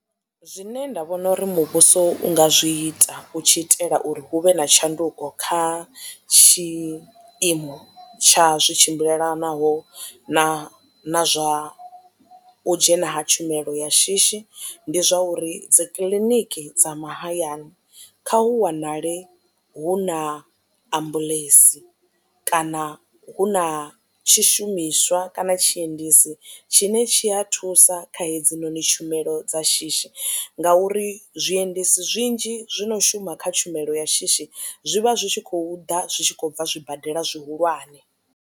Zwine nda vhona uri muvhuso u nga zwi ita u tshi itela uri hu vhe na tshanduko kha tshiimo tsha zwi tshimbilelanaho na na zwa u dzhena ha tshumelo ya shishi ndi zwa uri dzikiḽiniki dza mahayani kha hu wanale hu na ambuḽentsi kana hu na tshishumiswa kana tshiendedzi tshine tshi a thusa kha hedzinoni tshumelo dza shishi ngauri zwiendedzi zwinzhi zwo no shuma kha tshumelo ya shishi zwivha zwi tshi khou ḓa zwi tshi khou bva zwibadela zwihulwane.